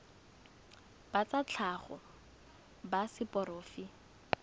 ba tsa tlhago ba seporofe